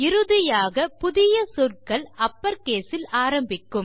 இறுதியாக புதிய சொற்கள் அப்பர் கேஸ் இல் ஆரம்பிக்கும்